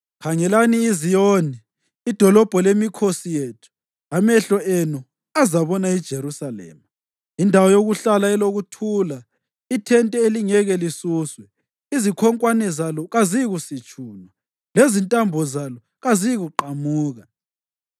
Khangelani iZiyoni, idolobho lemikhosi yethu; amehlo enu azabona iJerusalema indawo yokuhlala elokuthula, ithente elingeke lisuswe; izikhonkwane zalo kaziyikusitshunwa lezintambo zalo kaziyikuqamuka.